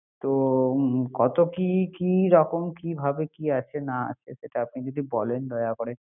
তো কত কি-কি রকম কিভাবে কি আসে না আসে সেটা আপনি যদি বলনে দয়া করে